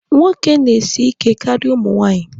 Nwoke na-esi ike karịa ụmụ nwaanyị.